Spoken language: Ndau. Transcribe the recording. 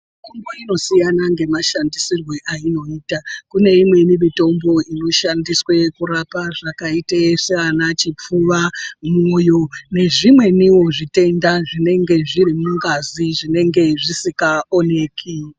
Mitombo inosiyana ngemashandisirwe ayinoyita, kune imweni mitombo inoshandiswa kurapa zvakayita sana chipfuva, mwoyo, nezvimweniwo zvitenda zvinenge zviri mungazi zvinenge zvisikaoneki.